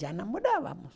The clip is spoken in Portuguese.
Já namorávamos.